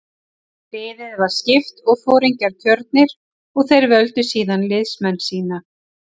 Liði var skipt og foringjar kjörnir og þeir völdu síðan liðsmenn sína.